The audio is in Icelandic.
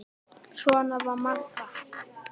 Svona var Magga.